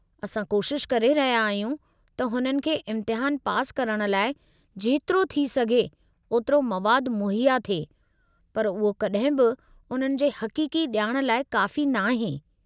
असां कोशिश करे रहिया आहियूं त हुननि खे इम्तिहानु पास करण लाइ जेतिरो थी सघे ओतिरो मवादु मुहैया थिए, पर उहो कॾहिं बि उन्हनि जे हक़ीक़ी ॼाण लाइ काफ़ी नाहे।